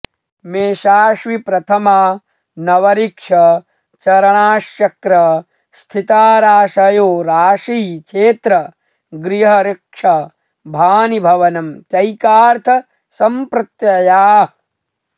मेषाश्वि प्रथमा नवऋक्ष चरणाश्चक्र स्थिताराशयो राशि क्षेत्र गृहऋक्ष भानि भवनं चैकार्थ सम्प्रत्ययाः